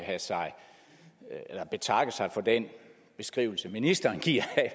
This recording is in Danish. betakke sig for den beskrivelse ministeren giver